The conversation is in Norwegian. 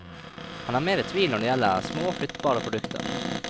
Han er mer i tvil når det gjelder små, flyttbare produkter.